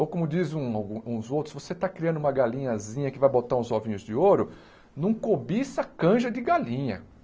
Ou como diz um uns outros, se você está criando uma galinhazinha que vai botar uns ovinhos de ouro, não cobiça a canja de galinha.